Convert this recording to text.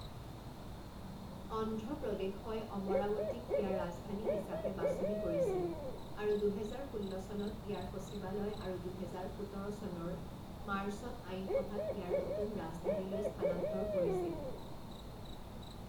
অন্ধ্ৰ প্ৰদেশই অমৰাৱতীক ইয়াৰ ৰাজধানী হিচাপে বাছনি কৰিছিল আৰু দুহেজাৰ ষোল্ল চনত ইয়াৰ সচিবালয় আৰু দুহেজাৰ সোতৰ চনৰ মাৰ্চত আইনসভাক ইয়াৰ নতুন ৰাজধানীলৈ স্থানান্তৰ কৰিছিল।